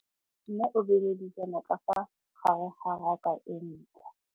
Mmê o beile dijana ka fa gare ga raka e ntšha.